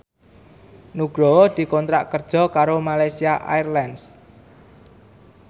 Nugroho dikontrak kerja karo Malaysia Airlines